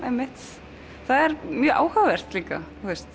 einmitt það er mjög áhugavert líka